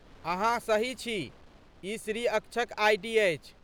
अहाँ सही छी, ई श्री अक्षक आइ.डी. अछि।